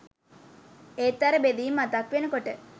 ඒත් අර බෙදීම මතක් වෙනකොට